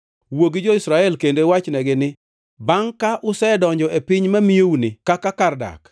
“Wuo gi jo-Israel kendo iwachnegi ni, ‘Bangʼ ka usedonjo e piny mamiyouni kaka kar dak